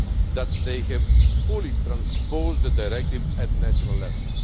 that they have fully transposed the Directive at national level.